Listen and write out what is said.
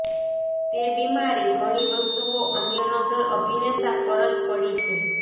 તે બીમારી ઘણી વસ્તુઓ અન્ય નજર અભિનેતા ફરજ પડી છે